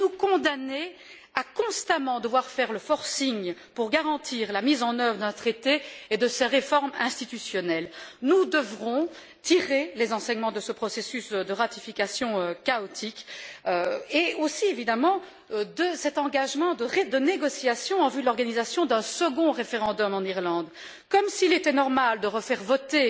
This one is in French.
Sommes nous condamnés à constamment devoir faire le forcing pour garantir la mise en œuvre d'un traité et de ses réformes institutionnelles? Nous devrons tirer les enseignements de ce processus de ratification chaotique et aussi, évidemment, de cet engagement de négociations en vue de l'organisation d'un second référendum en Irlande, comme s'il était normal de refaire voter